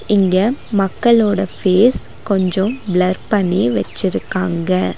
இங்க மக்கள்ளோட ஃபேஸ் கொஞ்சம் ப்ளர் பண்ணி வெச்சிருக்காங்க.